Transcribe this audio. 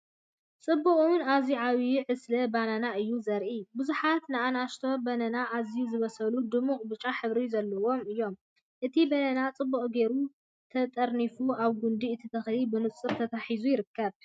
ጽቡቕን ኣዝዩ ዓቢይን ዕስለ ባናና እዩ ዘርኢ። ብዙሓት ንኣሽቱ ባናናታት ኣዝዮም ዝበሰሉን ድሙቕ ብጫ ሕብሪ ዘለዎምን እዮም። እቲ ባናና ጽቡቕ ጌሩ ተጠርኒፉ ኣብ ጕንዲ እቲ ተኽሊ ብንጹር ተተሓሒዙ ይርከብ።